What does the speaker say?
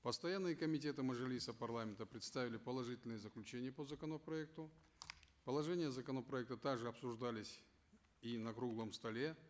постояннные комитеты мажилиса парламента представили положительные заключения по законопроекту положения законопроекта также обсуждались и на круглом столе